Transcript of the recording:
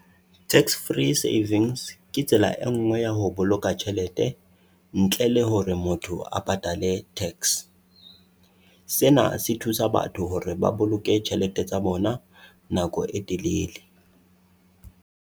Tax free savings ke tsela e nngwe ya ho boloka tjhelete ntle le hore motho a patale tax. Sena se thusa batho hore ba boloke tjhelete tsa bona nako e telele.